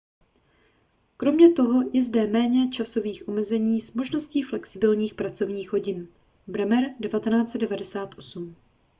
kromě toho je zde méně časových omezení s možností flexibilních pracovních hodin. bremer 1998